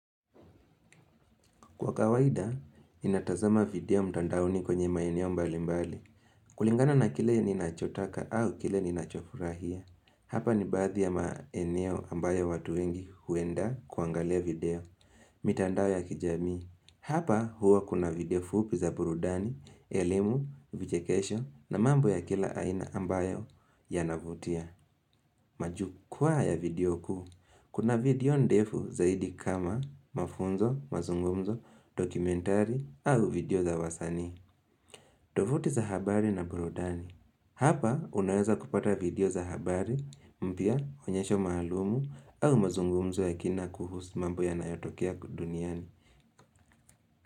Kwa kawaida, ninatazama video mtandaoni kwenye maeneo mbalimbali. Kulingana na kile ninachotaka au kile ninachofurahia. Hapa ni baadhi ya maeneo ambayo watu wengi huenda kuangalia video. Mitandao ya kijamii Hapa huwa kuna video fupi za burudani, elimu, vichekesho na mambo ya kila aina ambayo yanavutia. Majukwa ya video kuu. Kuna video ndefu zaidi kama mafunzo, mazungumzo, dokumentari au video za wasanii. Tovuti za habari na burudani. Hapa unaweza kupata video za habari, mpya, onyesho maalum au mazungumzo ya kina kuhusu mambo yanayotokea duniani.